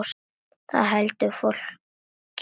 Það heldur fólki kátu.